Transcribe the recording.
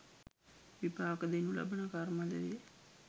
විපාක දෙනු ලබන කර්ම ද වේ.